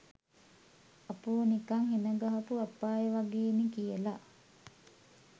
අපෝ නිකං හෙණ ගහපු අපාය වගේනෙ කියල?